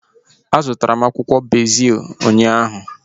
A zụtara m akwụkwọ bezil ụnyaahụ